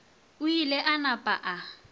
o ile a napa a